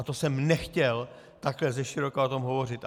A to jsem nechtěl takhle zeširoka o tom hovořit.